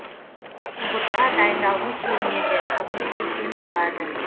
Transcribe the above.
ұбт ға дайындалғым келмейді не істесем болады